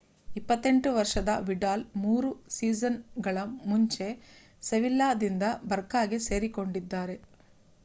28 ವರ್ಷದ ವಿಡಾಲ್ ಮೂರು ಸೀಸನ್ ಗಳ ಮುಂಚೆ ಸೆವಿಲ್ಲಾ ದಿಂದ ಬರ್ಕಾಗೆ ಸೇರಿಕೊಂಡಿದ್ದಾರೆ